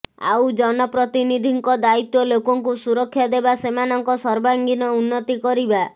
ଆଉ ଜନପ୍ରତିନିଧିଙ୍କ ଦାୟିତ୍ୱ ଲୋକଙ୍କୁ ସୁରକ୍ଷା ଦେବା ସେମାନଙ୍କ ସର୍ବାଙ୍ଗୀନ ଉନ୍ନତି କରିବା